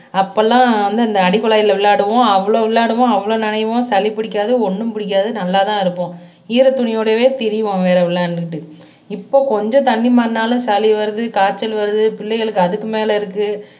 அப்போ எல்லாம் வந்து அந்த அடி குழாயில் விளையாடுவோம் அவ்வளவு விளையாடுவோம் நனைவோம் சளி பிடிக்காது ஒன்னும் பிடிக்காது நல்லா தான் இருப்போம் ஈரத்துணியோடையே திரிவோம் வேற விளையாண்டுக்கிட்டு இப்போ கொஞ்சம் தண்ணி மாறினாலும் சளி வருது காய்ச்சல் வருது பிள்ளைகளுக்கு அதுக்கு மேல இருக்கு